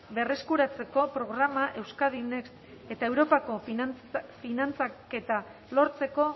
berreskuratzeko programa euskadi next eta europako finantzaketa lortzeko